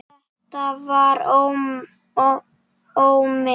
Þetta var Ómi